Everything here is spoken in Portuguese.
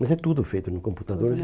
Mas é tudo feito no computador.